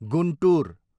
Guntur